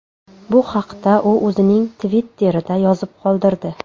Bu haqda u o‘zining Twitter’ida yozib qoldirdi .